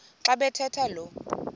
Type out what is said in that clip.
xa bathetha lo